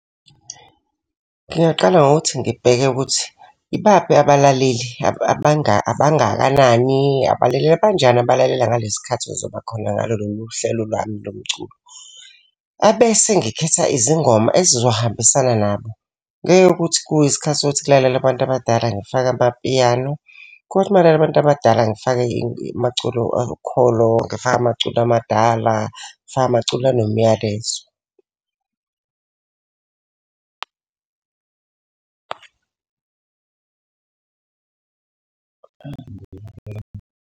Ngingaqala ngokuthi ngibheke ukuthi, ibaphi abalaleli abangakanani. Abalaleli abanjani abalalela ngalesi khathi okuzoba khona ngalo lolu hlelo lwami lo mculo. Abese ngikhetha izingoma ezizohambisana nabo, ngeke ukuthi kuyisikhathi sokuthi kulalele abantu abadala ngifake amapiyano. Kothi makulalela abantu abadala ngifake amaculo okhokho, ngifake amaculo amadala, ngifake amaculo anomlayezo.